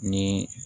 Ni